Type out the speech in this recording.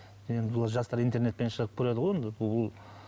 енді бұл жастар интернетпен шығып көреді ғой гугл